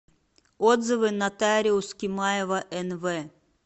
отзывы нотариус кимаева нв